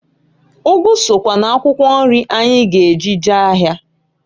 Ụgụ sokwa n'akwụkwọ nri anyị g'eji jee ahịa.